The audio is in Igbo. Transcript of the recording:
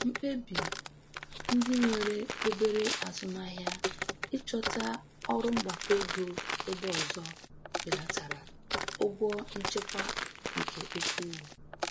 Mkpebi ndị nwere obere azụmahịa ịchọta ọrụ mgbakọ ego ebe ọzọ belatara ụgwọ nchịkwa nke ukwuu.